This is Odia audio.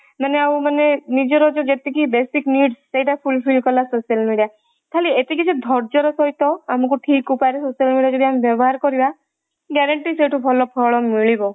ମାନେ ଆଉ ମାନେ ନିଜର ଯାଉ basic need ସେଇଟା fulfil କଲା social media ଖାଲି ଏତିକି ଯେ ଧର୍ଯ୍ୟ ର ସହିତ ଆମକୁ ଠିକ ଉପାୟରେ social media ଯଦି ବ୍ୟବହାର କରିବା guarantee ସେତୁ ଭଲ ଫଳ ମିଳିବ